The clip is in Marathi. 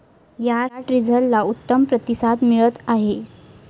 या टीझरला उत्तम प्रतिसाद मिळत आहे.